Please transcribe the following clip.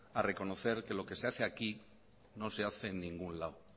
a reconocer que lo que se hace aquí no se hace en ningún lado